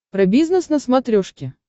про бизнес на смотрешке